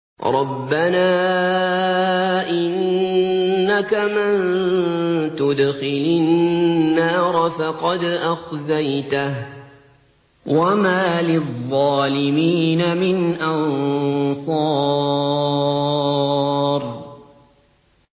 رَبَّنَا إِنَّكَ مَن تُدْخِلِ النَّارَ فَقَدْ أَخْزَيْتَهُ ۖ وَمَا لِلظَّالِمِينَ مِنْ أَنصَارٍ